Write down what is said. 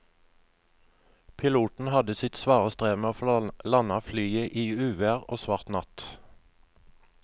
Piloten hadde sitt svare strev med å få landet flyet i uvær og svart natt.